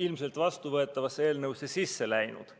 ilmselt vastuvõetavasse eelnõusse sisse läinud.